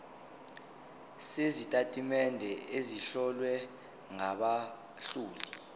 sezitatimende ezihlowe ngabahloli